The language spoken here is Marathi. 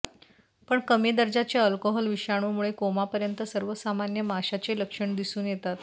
पण कमी दर्जाचे अल्कोहोल विषाणूमुळे कोमापर्यंत सर्वसामान्य माशाचे लक्षण दिसून येतात